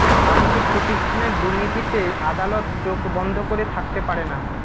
আর্থিকপ্রতিষ্ঠানের দুর্নীতিতে আদালত চোখ বন্ধ করে থাকতে পারে না